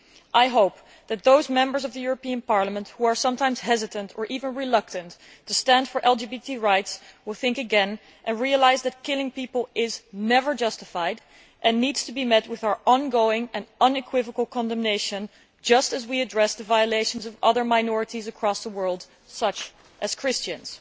I hope that those Members who are sometimes hesitant or even reluctant to stand up for gay rights will think again and realise that killing people is never justified and that it needs to be met with our ongoing and unequivocal condemnation, just as we address the violations of the rights of other minorities across the world, such as Christians.